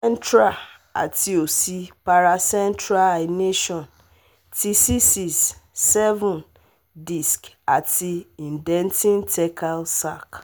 Central ati osi paracentral herniation ti C six C seven disc ati indenting thecal sac